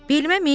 Belimə min.